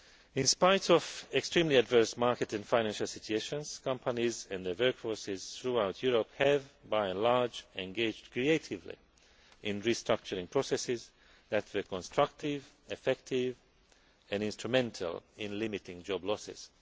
Europe. In spite of extremely adverse market and financial situations, companies and their workforces throughout Europe have, by and large, engaged creatively in restructuring processes that were constructive, effective and instrumental in limiting job